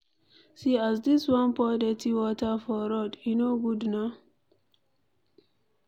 See as dis one pour dirty water for road, e no good na.